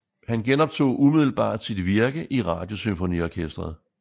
Han genoptog umiddelbart sit virke i Radiosymfoniorkestret